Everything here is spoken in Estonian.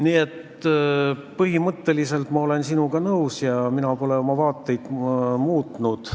Nii et põhimõtteliselt ma olen sinuga nõus ja ma pole oma vaateid muutnud.